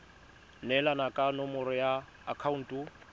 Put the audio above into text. neelana ka nomoro ya akhaonto